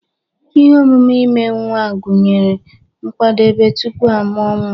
Ihe omume ime nwa gụnyere nkwadebe tupu a mụọ nwa